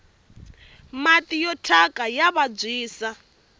mati ya thyaka ya vabyisa